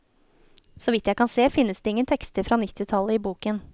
Så vidt jeg kan se, finnes det ingen tekster fra nittitallet i boken.